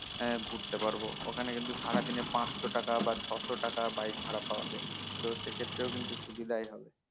হম ঘুরতে পারবো ওখানে কিন্তু সারাদিনে পাঁচশো টাকা বা ছয়শো টাকা bike ভাড়া পাওয়া যায় তো সেক্ষেত্রেও কিন্তু সুবিধাই হবে